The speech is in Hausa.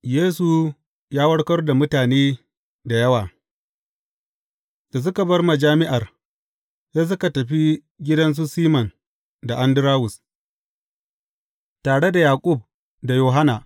Yesu ya warkar da mutane da yawa Da suka bar majami’ar, sai suka tafi gidan su Siman da Andarawus, tare da Yaƙub da Yohanna.